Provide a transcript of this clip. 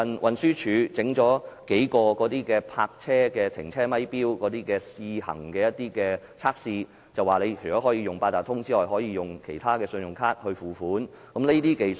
運輸署最近設立數個泊車停車咪錶以進行測試，除可使用八達通以外，更可以其他信用卡付款。